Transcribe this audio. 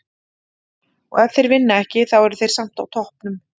Og ef þeir vinna ekki, þá eru þeir samt á toppnum.